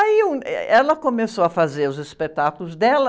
Aí eu, eh, ela começou a fazer os espetáculos dela.